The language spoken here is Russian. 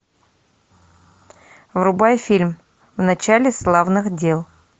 врубай фильм в начале славных дел